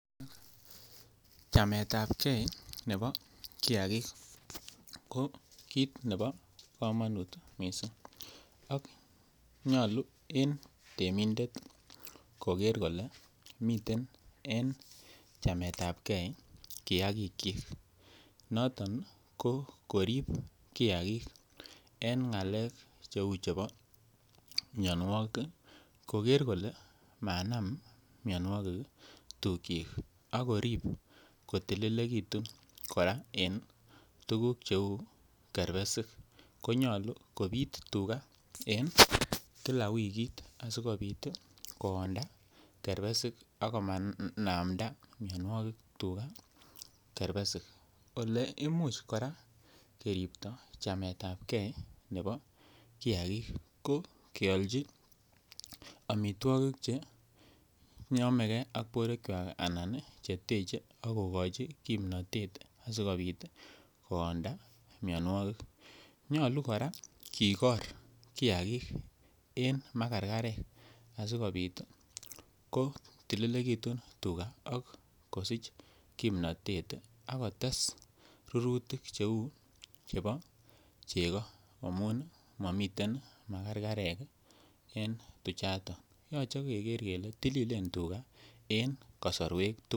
Chameetapgei nebo kiagik ko kit nebo komonut kot mising ak nyolu en temindet kogeer kole miten en chameetapgei kiagikyik noton ko korib kiagik en ngalek Cheu chebo mianwogik koger kole manam mianwogik tukyik ak korib kotilegitu kora en tuguk cheu kerbesik ko nyolu kobit tuga en kila wikit asikobit koonda kerbesik ak komanamda tuga miando kerbesik Ole Imuch kora keripto chameetapgei nebo kiagik ko kiaalochi amitwogik Che teche ak kogochi kimnatet asikobit koonda mianwogik nyolu kora kigor tuga en makarkarek asikobit ko tililegitun tuga ak kosich kimnatet ak kotes rurutik cheu chebo chego amun mamiten makarkarek en tuchato yoche keker kele tililen tuga en kasarwek tugul